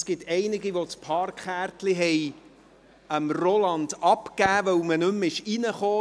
Es gab einige, die das Parkkärtchen an Roland Schneeberger abgegeben haben, weil man damit nicht mehr hineinkam.